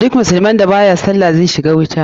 Duk musulmin da baya sallah zai shiga wuta.